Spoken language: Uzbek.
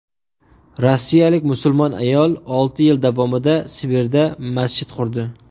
Rossiyalik musulmon ayol olti yil davomida Sibirda masjid qurdi.